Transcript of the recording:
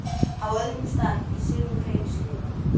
Á öðrum stað í sömu grein skrifar